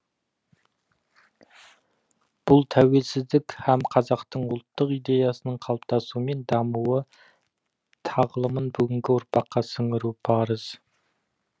бұл тәуелсіздік һәм қазақтың ұлттық идеясының қалыптасуы мен дамуы тағылымын бүгінгі ұрпаққа сіңіру парыз